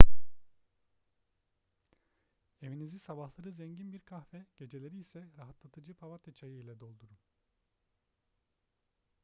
evinizi sabahları zengin bir kahve geceleri ise rahatlatıcı papatya çayı ile doldurun